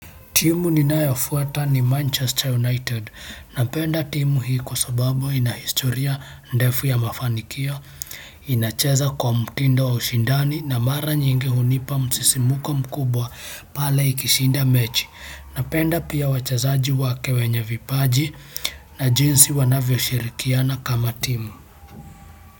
Timu ninayofuata ni Manchester United. Napenda timu hii kwa sababu ina historia ndefu ya mafanikio, inacheza kwa mtindo wa ushindani na mara nyingi hunipa msisimko mkubwa pale ikishinda mechi napenda pia wachezaji wake wenye vipaji na jinsi wanavyoshirikiana kama timu.